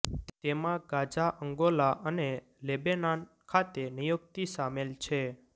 તેમાં Gaza Angola અને Lebanon ખાતે નિયુક્તિ સામેલ છે